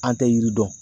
An tɛ yiri dɔn